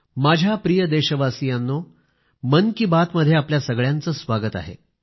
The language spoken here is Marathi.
माझ्या प्रिय देशवासीयांनो मन की बात मध्ये आपल्या सगळ्यांचे स्वागत आहे